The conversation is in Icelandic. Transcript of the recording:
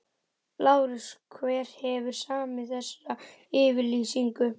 LÁRUS: Hver hefur samið þessa yfirlýsingu?